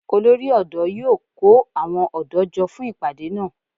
Olórí ọ̀dọ́ yíó kó àwọn ọ̀dọ́ jọ fún ìpàdé náà